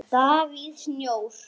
Davíð Snjór.